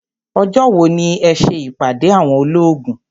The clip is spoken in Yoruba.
Ọjọ́ wo ni ẹ ṣe ìpàdé àwọn olóògùn.